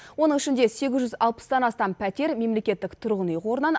оның ішінде сегіз жүз алпыстан астам пәтер мемлекеттік тұрғын үй қорынан